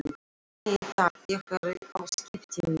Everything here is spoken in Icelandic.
Nei takk, ég er á skiptimiða.